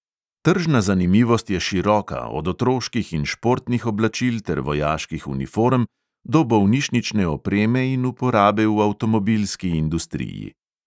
Tržna zanimivost je široka, od otroških in športnih oblačil ter vojaških uniform do bolnišnične opreme in uporabe v avtomobilski industriji.